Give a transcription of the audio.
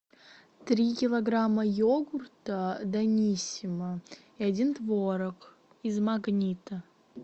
три килограмма йогурта даниссимо и один творог из магнита